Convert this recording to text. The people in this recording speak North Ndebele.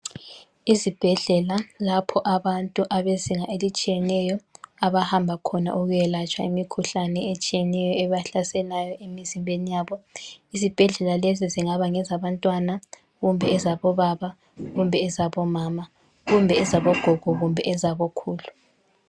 Ezibhedlela, lapho abantu abezinga elitshiyeneyo abahamba khona ukuyayelatshwa imikhuhlane etshiyeneyo ebahlaselayo emizimbeni yabo. Izibhedlela lezi zingaba ngezabantwana, kumbe ezabobaba, kumbe ezabomama, kumbe ezabogogo kumbe ezabokhulu.